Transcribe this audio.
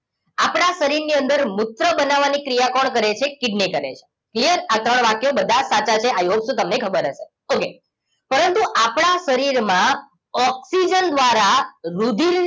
આપણા શરીરની અંદર મૂત્ર બનાવવાની ક્રિયા કોણ કરે છે કિડની કરે છે clear આ ત્રણ વાક્યો બધા સાચા છે i hope so તમને ખબર હશે ઓકે પરંતુ આપણા શરીરમાં ઓક્સિજન દ્વારા રુધિરને